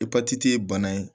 E patiti ye bana ye